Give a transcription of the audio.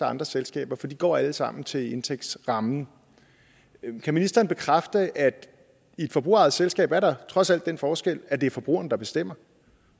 andre selskaber for de går alle sammen til indtægtsrammen kan ministeren bekræfte at i et forbrugerejet selskab er der trods alt den forskel at det er forbrugerne der bestemmer